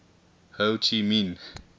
ho chi minh